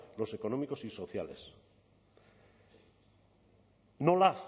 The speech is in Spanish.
los económicos y sociales nola